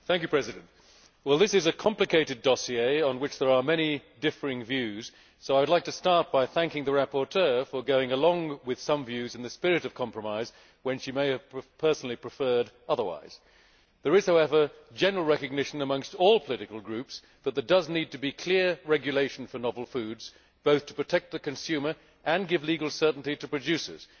Madam President, this is a complicated dossier on which there are many differing views, so I would like to start by thanking the rapporteur for going along with some views in the spirit of compromise, when she may have personally preferred otherwise. There is, however, general recognition amongst all political groups that there needs to be clear regulation for novel foods, both to protect the consumer and give legal certainty to producers.